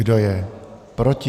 Kdo je proti?